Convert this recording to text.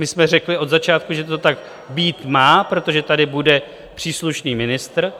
My jsme řekli od začátku, že to tak být má, protože tady bude příslušný ministr.